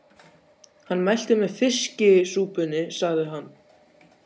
Hann mælti með fiskisúpunni, sagði hann.